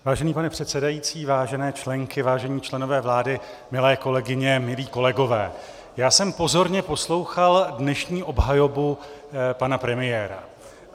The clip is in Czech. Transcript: Vážený pane předsedající, vážené členky, vážení členové vlády, milé kolegyně, milí kolegové, já jsem pozorně poslouchal dnešní obhajobu pana premiéra.